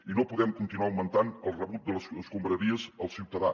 i no podem continuar augmentant el rebut de les escombraries al ciutadà